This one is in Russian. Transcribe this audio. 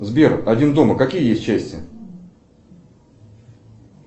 сбер один дома какие есть части